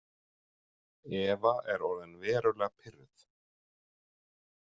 Eva er orðin verulega pirruð.